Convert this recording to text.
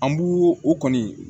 An b'u o kɔni